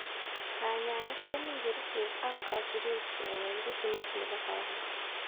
Kanyaeet komii kericheeek ak kasibeet keweek ritimit nebo kawaida